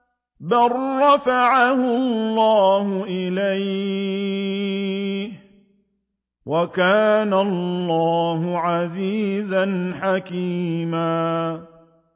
بَل رَّفَعَهُ اللَّهُ إِلَيْهِ ۚ وَكَانَ اللَّهُ عَزِيزًا حَكِيمًا